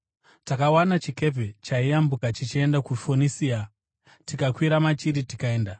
Takawana chikepe chaiyambuka chichienda kuFonisia, tikakwira machiri tikaenda.